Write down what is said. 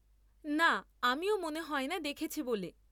না, আমিও মনে হয়না দেখেছি বলে।